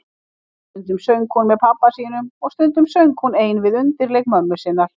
Stundum söng hún með pabba sínum og stundum söng hún ein við undirleik mömmu sinnar.